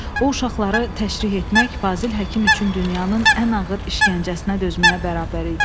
O uşaqları təşrih etmək Fazil həkim üçün dünyanın ən ağır işgəncəsinə dözməyə bərabər idi.